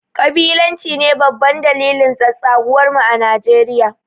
kabilanci ne babban dalilin tsatsaguwar mu a Nijeriya